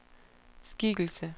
skikkelse